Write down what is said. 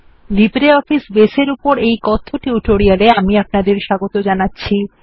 LibreOffice base এর উপর এই কথ্য টিউটোরিয়ালে আমি আপনাদের স্বাগত জানাচ্ছি